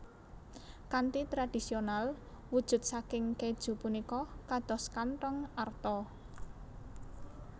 Kanthi tradisional wujud saking kèju punika kados kanthong arta